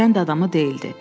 Kənd adamı deyildi.